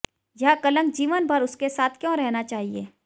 यह कलंक जीवन भर उसके साथ क्यों रहना चाहिए